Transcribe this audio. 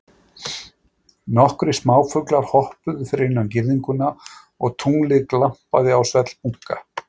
Nokkrir smáfuglar hoppuðu fyrir innan girðinguna og tunglið glampaði á svellbunka.